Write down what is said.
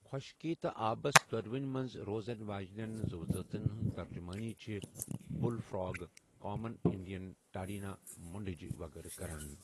خوشكی تہٕ آبس دونونی منز روزن واجنین زوٗوٕ زٲژن ہنز ترجٗمٲنی چھِ بٗل فراگ، کامن انڈین ٹاڈنینہِ مونڈجہِ وغٲرٕ كران۔